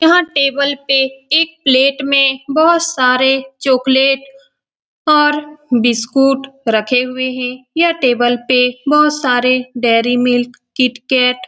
यहाँ टेबल पे एक प्लेट में बहुत सारे चॉकलेट और बिस्कुट रखे हुए हैं यह टेबल पे बहुत सारे डेरी मिल्क किटकैट --